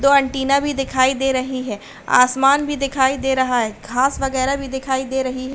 दो एंटीना भी दिखाई दे रही है आसमान भी दिखाई दे रहा है घास वगैरा भी दिखाई दे रही है।